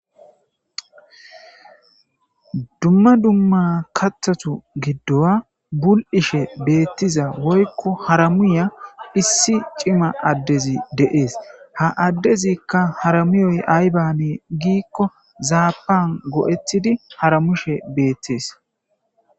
Dumma dumma kaththata buli"ishe beteza woyikko harumushshe diza issi cima adezi adey des ha adez harumizayikka azanne gikko zappan go"etidi hatumusse detes